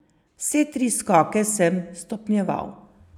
Vse tri skoke sem stopnjeval.